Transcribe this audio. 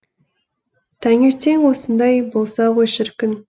таңертең осындай болса ғой шіркін